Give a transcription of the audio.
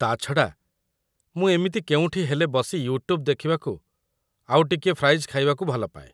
ତା' ଛଡ଼ା, ମୁଁ ଏମିତି କେଉଁଠି ହେଲେ ବସି ୟୁଟ୍ୟୁବ୍ ଦେଖିବାକୁ ଆଉ ଟିକେ ଫ୍ରାଇଜ୍ ଖାଇବାକୁ ଭଲ ପାଏ ।